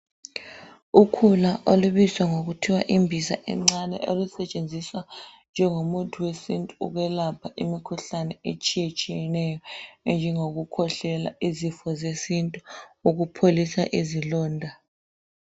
Ukhula olubizwa ngokuthiwa imbiza encane olusetshenziswa njengomuthi wesintu ukwelapha imikhuhlane etshiyetshiyeneyo enjengokukhwehlela, izifo zesintu. Ukupholisa izilonda.